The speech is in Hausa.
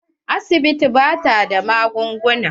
Asibitin ba ta da magunguna.